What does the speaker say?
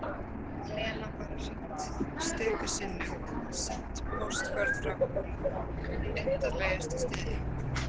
Lena bara hringt stöku sinnum, sent póstkort frá undarlegustu stöðum